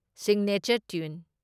Signature tune.